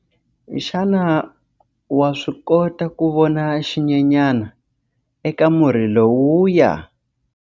Xana wa swi kota ku vona xinyenyana eka murhi lowuya?